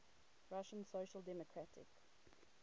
russian social democratic